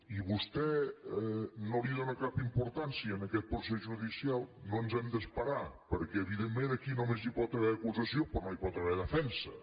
i vostè no dóna cap importància a aquest procés judi·cial no ens hem d’esperar perquè evidentment aquí només hi pot haver acusació però no hi pot haver de·fensa